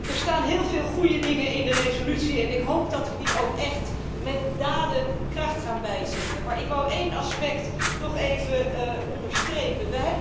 Er staan heel veel goede dingen in de resolutie en ik hoop dat we die ook echt met daden kracht gaan bijzetten, maar ik wou één aspect toch even onderstrepen.